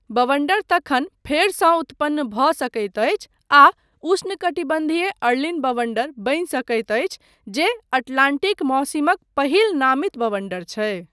बवण्डर तखन फेरसँ उतपन्न भऽ सकैत अछि आ उष्णकटिबन्धीय अर्लीन बवण्डर बनि सकैत अछि जे अटलान्टिक मौसिमक पहिल नामित बवण्डर छै।